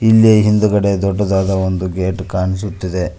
ಇಲ್ಲಿ ಹಿಂದಗಡೆ ದೊಡ್ಡದಾದ ಒಂದು ಗೇಟ್ ಕಾಣಿಸುತ್ತಿದೆ.